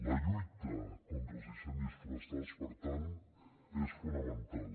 la lluita contra els incendis forestals per tant és fo·namental